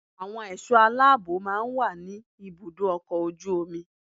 Àwọn ẹ̀ṣọ́ aláàbò máa ń wà ní ibùdó ọkọ̀ ojú omi